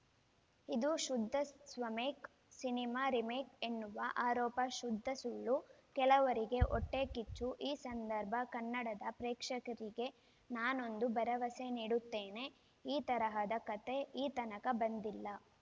ಇದು ಶುದ್ಧ ಸ್ವಮೇಕ್‌ ಸಿನಿಮಾ ರಿಮೇಕ್‌ ಎನ್ನುವ ಆರೋಪ ಶುದ್ಧ ಸುಳ್ಳು ಕೆಲವರಿಗೆ ಹೊಟ್ಟೆಕಿಚ್ಚು ಈ ಸಂದರ್ಭ ಕನ್ನಡದ ಪ್ರೇಕ್ಷಕರಿಗೆ ನಾನೊಂದು ಭರವಸೆ ನೀಡುತ್ತೇನೆ ಈ ತರಹದ ಕತೆ ಈ ತನಕ ಬಂದಿಲ್ಲ